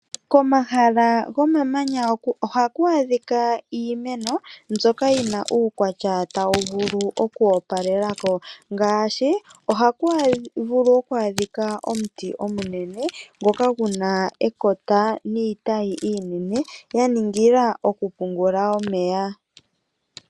Komahala gomamanya ohaku adhika iimeno, mbyoka yi na uukwatya tawu vulu oku opalela ko, ngaashi omuti omunene ngoka guna ekota niitayi iinene, gwaningila okupungula omeya.